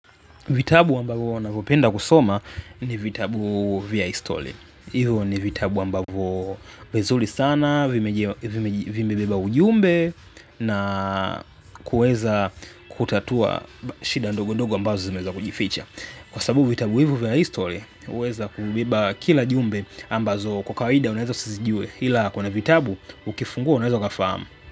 Vitabu ambavo huna vopenda kusoma ni vitabu via histole. Ivo ni vitabu ambavo vizuli sana, vimebeba ujumbe na kuweza kutatua shida ndogo ndogo ambazo zimeeza kujificha. Kwa sababu vitabu hivo via histole, huweza kubiba kila jumbe ambazo kwa kawida unaweza sizijue. Hila kuna vitabu, ukifungua unaweza ukafamu.